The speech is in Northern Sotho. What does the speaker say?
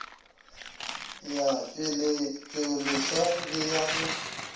ya tšweletšoleswa le ya go